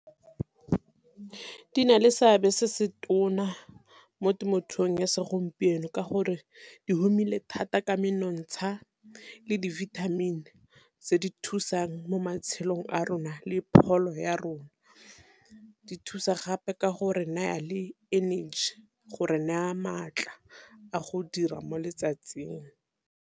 Di na le seabe se se tona mo temothuong ya segompieno, ka gore di humile thata ka menontsha le di vitamin tse di thusang mo matshelong a rona le pholo ya rona. Di thusa gape ka gore naya le energy gore naya maatla a go dira mo letsatsing.